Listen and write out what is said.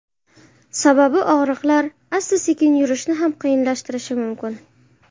Sababi og‘riqlar asta-sekin yurishni ham qiyinlashtirishi mumkin.